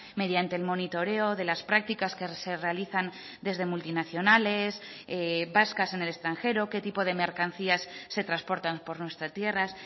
mediante el monitoreo de las prácticas que se realizan desde multinacionales vascas en el extranjero qué tipo de mercancías se transportan por nuestra tierras